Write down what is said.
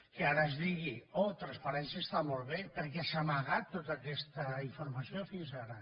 que ara es digui oh transparència està molt bé perquè s’ha amagat tota aquesta infor mació fins ara